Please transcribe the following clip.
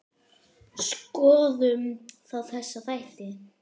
Skoðum þá þessa þætti.